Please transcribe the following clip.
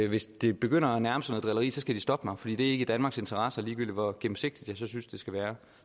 hvis det begynder at nærme sig noget drilleri så skal de stoppe mig for ikke i danmarks interesse ligegyldigt hvor gennemsigtigt jeg synes det skal være